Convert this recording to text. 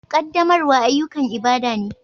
Ƙaddamarwa ayyukan ibada ne